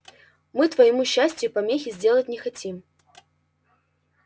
мы твоему счастию помехи сделать не хотим